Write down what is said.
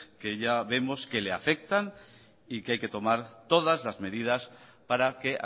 que ya vemos que le afectan y que hay que tomar todas las medidas para que